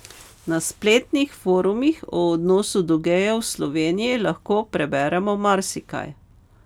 Na spletnih forumih o odnosu do gejev v Sloveniji lahko preberemo marsikaj.